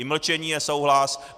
I mlčení je souhlas.